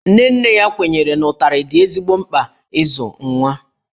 Nne nne ya kwenyere na ụtarị dị ezigbo mkpa n'ịzụ nwa